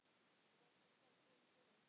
Breki: Hvað kom fyrir?